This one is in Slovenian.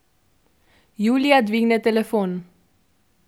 Julija dvigne telefon.